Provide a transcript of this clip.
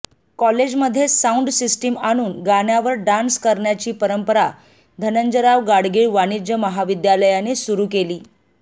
college मध्ये sound system आणून गाण्यावर डॉन्स करायची परंपरा धंनजयराव गाडगीळ वाणिज्य महाविद्यालयाने सुरू केली